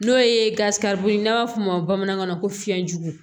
N'o ye ye n'a b'a f'o ma bamanankan na ko fiɲɛjugu